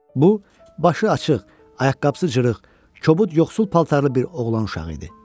Bu başı açıq, ayaqqabısız cırıq, kobud yoxsul paltarlı bir oğlan uşağı idi.